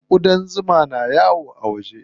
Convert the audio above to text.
Ƙudan zuma ne suke yawo a waje.